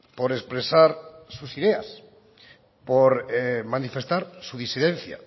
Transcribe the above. por expresar sus ideas por manifestar su disidencia